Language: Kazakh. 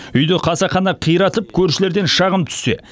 үйді қасақана қиратып көршілерден шағым түссе